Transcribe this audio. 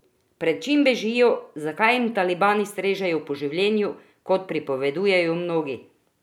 Pred čim bežijo, zakaj jim talibani strežejo po življenju, kot pripovedujejo mnogi?